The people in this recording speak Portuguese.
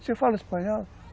Você fala espanhol?